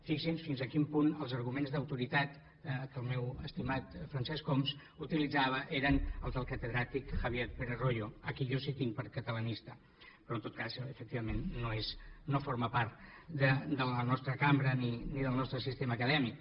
fixin se fins a quin punt els arguments que el meu estimat francesc homs utilitzava eren els del catedràtic javier pérez royo a qui jo sí tinc per catalanista però en tot cas efectivament no forma part de la nostra cambra ni del nostre sistema acadèmic